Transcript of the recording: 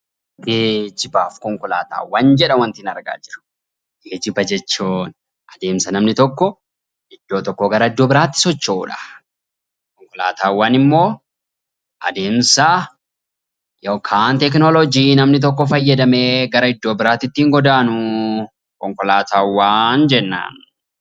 Geejiba fi konkolaataawwan waantin argaa jiru Geejiba jechuun adeemsa namni tokko iddoo tokkoo gara iddoo biraatti socho'udha. Konkolaataawwan immoo adeemsa yookiin teekinooloojii namni tokko fayyadamee gara iddoo biraatti ittiin godaanu konkolaataawwan jennaan.